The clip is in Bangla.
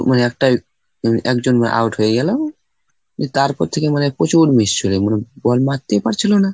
মানে একটা একজন out হয়ে গেল, তারপর থেকে মনে হয় প্রচুর মানে ball মারতেই পারছিল না।